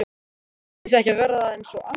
Ætli ég sé ekki að verða eins og amma?